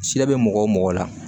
Siɲɛ bɛ mɔgɔ o mɔgɔ la